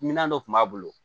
Minmina dɔ kun b'a bolo